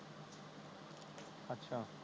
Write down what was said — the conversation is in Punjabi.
ਅੱਛਾ